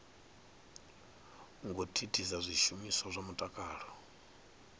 ngo thithisa zwishumiswa zwa mutakalo